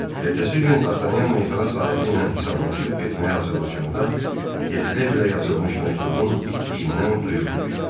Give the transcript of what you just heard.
Ertəsi gün Dartanyan meyxana sahibi ilə hesablaşıb getməyə hazırlaşanda Detrevlə yazılmış məktubun itdiyindən duyğu düşdü.